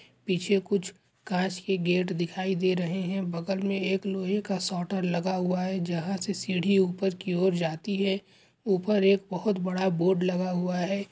पीछे कुछ कांच के गेट दिखाई दे रहे हैं बगल में एक लोहे का सोटर लगा हुआ हैं जहाँ से सीढ़ी ऊपर की और जाती हैं ऊपर एक बहोत बड़ा बोर्ड लगा हुआ हैं।